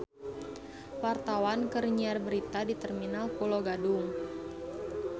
Wartawan keur nyiar berita di Terminal Pulo Gadung